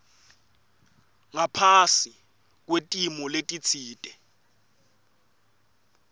ngaphasi kwetimo letitsite